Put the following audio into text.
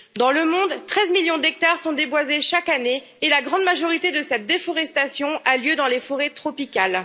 Dans le monde, 13 millions d'hectares sont déboisés chaque année et la grande majorité de cette déforestation a lieu dans les forêts tropicales.